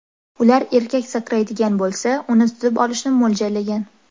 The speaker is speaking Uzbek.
Ular erkak sakraydigan bo‘lsa, uni tutib olishni mo‘ljallagan.